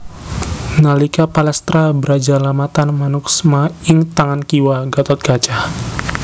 Nalika palastra Brajalamatan manuksma ing tangan kiwa Gathotkaca